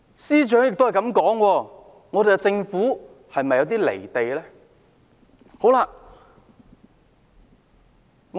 司長這樣說，政府是否有些"離地"呢？